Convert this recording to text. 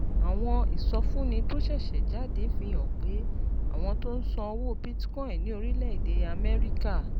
Àwọn ìsọfúnni tó ṣẹ̀ṣẹ̀ jáde fi hàn pé àwọn tó ń ṣòwò Bitcoin ní orílẹ̀-èdè Amẹ́ríkà